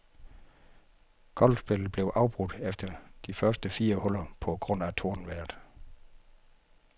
Golfspillet blev afbrudt efter de første fire huller på grund af tordenvejret.